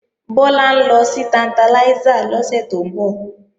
Bọ́lá ń lọ sí Tantalizer lọ́sẹ̀ tó ń bọ̀